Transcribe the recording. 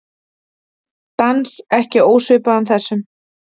Dans ekki ósvipaðan þessum.